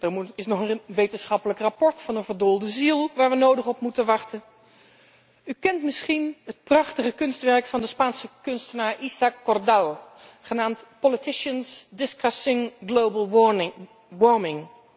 Er is nog een wetenschappelijk rapport van een verdoolde ziel waar we nodig op moeten wachten. U kent misschien het prachtige kunstwerk van de Spaanse kunstenaar Isaac Cordal, genaamd Politicians Discussing Global Warming.